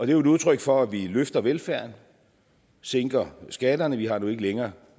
er jo et udtryk for at vi løfter velfærden og sænker skatterne vi har nu ikke længere